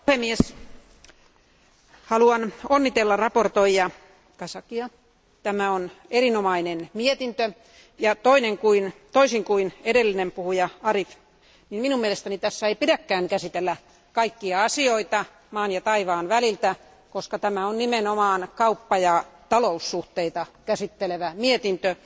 Arvoisa puhemies, haluan onnitella esittelijä Kazakia. Tämä on erinomainen mietintö ja toisin kuin edellinen puhuja Kader Arif, minun mielestäni tässä ei pidäkään käsitellä kaikkia asioita maan ja taivaan väliltä, koska tämä on nimenomaan kauppa ja taloussuhteita käsittelevä mietintö.